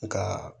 Nka